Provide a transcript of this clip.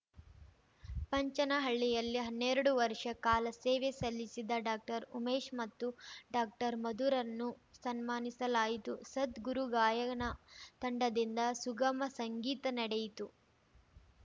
ಪಂಚನಹಳ್ಳಿಯಲ್ಲಿ ಹನ್ನೆರಡು ವರ್ಷ ಕಾಲ ಸೇವೆ ಸಲ್ಲಿಸಿದ್ದ ಡಾಕ್ಟರ್ಉಮೇಶ್‌ ಮತ್ತು ಡಾಕ್ಟರ್ಮಧುರನ್ನು ಸನ್ಮಾನಿಸಲಾಯಿತು ಸದ್ಗುರು ಗಾಯನ ತಂಡದಿಂದ ಸುಗಮ ಸಂಗೀತ ನಡೆಯಿತು